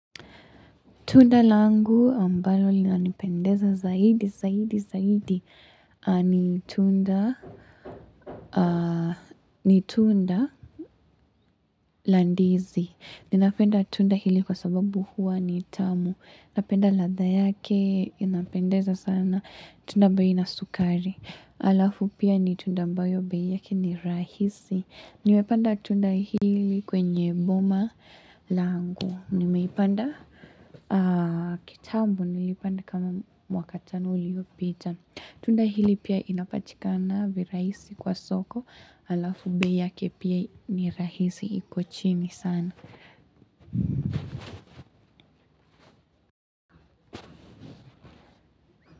Tunda langu ambalo lina nipendeza zaidi, zaidi, zaidi ni tu ni tunda la ndizi. Ninapenda tunda hili kwa sababu huwa ni tamu. Napenda ladha yake, inapendeza sana, tunda ambayo haina sukari. Alafu pia ni tunda ambayo bei yake ni rahisi. Nimepanda tunda hili kwenye boma langu. Nimeipanda kitambo nilipanda kama mwaka tano uliopita Tunda hili pia inapatikana virahisi kwa soko Alafu bei yake pia ni rahisi iko chini sana.